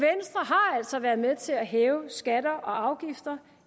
altså været med til at hæve skatter og afgifter